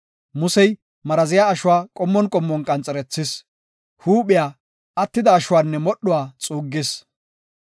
Musey maraziya ashuwa qommon qommon qanxerethis; huuphiya, attida ashuwanne modhuwa xuuggis.